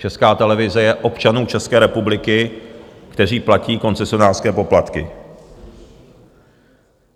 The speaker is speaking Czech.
Česká televize je občanů České republiky, kteří platí koncesionářské poplatky.